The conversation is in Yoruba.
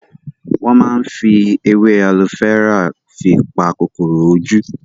Wọn máa ń fi èwe alo fẹ́rà fi pa kòkòrò ojú